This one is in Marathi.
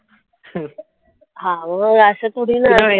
हा मग असं थोडी ना